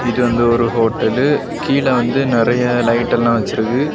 இது வந்து ஒரு ஹோட்டலு . கீழ வந்து நிறைய லைட் எல்லா வைச்சிருக்கு.